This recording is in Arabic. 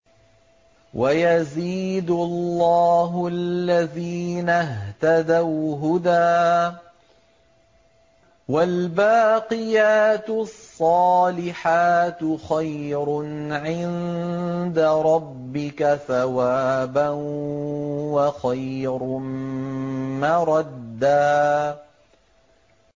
وَيَزِيدُ اللَّهُ الَّذِينَ اهْتَدَوْا هُدًى ۗ وَالْبَاقِيَاتُ الصَّالِحَاتُ خَيْرٌ عِندَ رَبِّكَ ثَوَابًا وَخَيْرٌ مَّرَدًّا